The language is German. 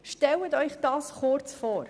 Stellen Sie sich das kurz vor.